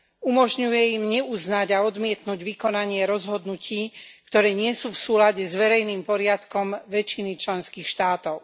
Umožňuje im neuznať a odmietnuť vykonanie rozhodnutí, ktoré nie sú v súlade s verejným poriadkom väčšiny členských štátov.